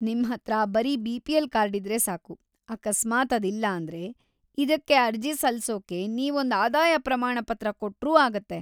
ನಿಮ್ಹತ್ರ ಬರೀ ಬಿ.ಪಿ.ಎಲ್. ಕಾರ್ಡಿದ್ರೆ ಸಾಕು, ಅಕಸ್ಮಾತ್‌ ಅದಿಲ್ಲಾಂದ್ರೆ ಇದಕ್ಕೆ ಅರ್ಜಿ ಸಲ್ಸೋಕೆ ನೀವೊಂದ್ ಆದಾಯ ಪ್ರಮಾಣಪತ್ರ‌ ಕೊಟ್ರೂ ಆಗತ್ತೆ.